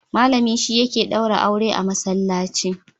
Malami shi yake daura aure a Masallaci.